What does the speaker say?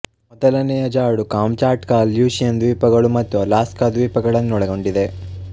ಮೊದಲನೆಯ ಜಾಡು Kamchatka Aleutian ದ್ವೀಪಗಳು ಮತ್ತು ಅಲಾಸ್ಕ ದ್ವೀಪಗಳನ್ನೊಳಗೊಂಡಿದೆ